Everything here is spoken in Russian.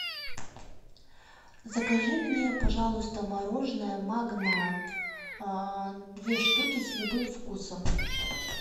закажи мне пожалуйста мороженое магнат две штуки с любым вкусом